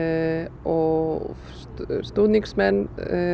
og stuðningsmenn